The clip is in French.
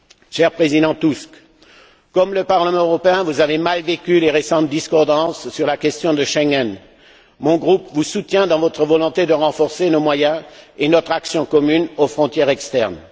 Cher Président Tusk, tout comme le Parlement européen, vous avez mal vécu les récentes discordances sur la question de Schengen. Mon groupe vous soutient dans votre volonté de renforcer nos moyens et notre action commune aux frontières externes.